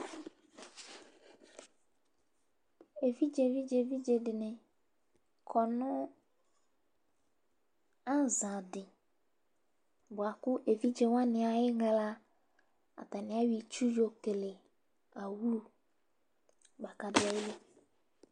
Evidzevidzevidze dɩnɩ kɔ nʋ aza dɩ,bʋa kʋ evidze wanɩ ayɩɣla, atanɩ ayɔ itsu yɔkele awlu